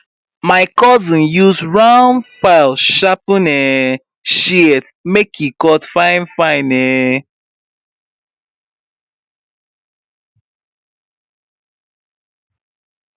my cousin use round file sharpen um shears make e cut finefine um